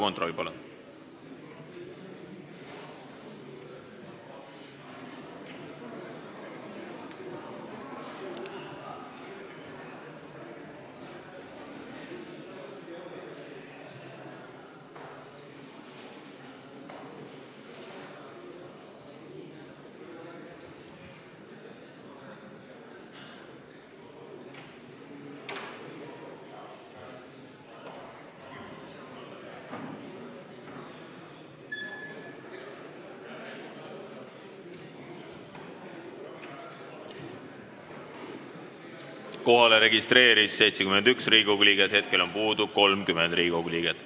Kohaloleku kontroll Kohalolijaks registreerus 71 Riigikogu liiget, hetkel on puudu 30 Riigikogu liiget.